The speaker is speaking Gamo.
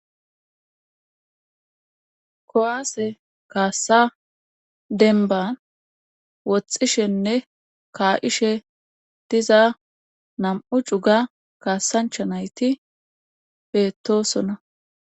Kuwaase kaassa denban woxxishenne kaa7ishe diza nam7u cuga kaassancha nayti bettosonna.